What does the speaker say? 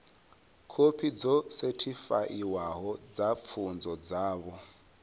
khophi dzo sethifaiwaho dza pfunzo dzavho